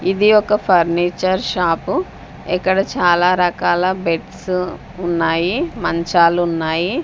ఇది ఒక furniture shop ఇక్కడ చాలా రకాల బెడ్సు ఉన్నాయి మంచాలున్నాయి.